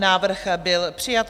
Návrh byl přijat.